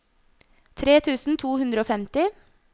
tre tusen to hundre og femti